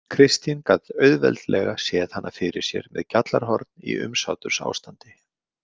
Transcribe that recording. Kristín gat auðveldlega séð hana fyrir sér með gjallarhorn í umsátursástandi.